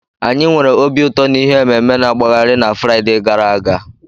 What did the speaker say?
Anyị nwere obi ụtọ na ihe ememe-na-agbagharị na Fraịde gara aga.